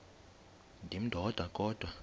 ndim ndodwa kodwa